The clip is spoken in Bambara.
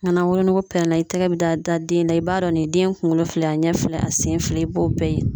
Mɛ nan wolonugu pɛrɛnna i tɛgɛ be da den na i b'a dɔn nin ye den kungolo filɛ a ɲɛ filɛ a sen filɛ i b'o bɛɛ ye